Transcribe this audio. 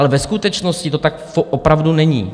Ale ve skutečnosti to tak opravdu není.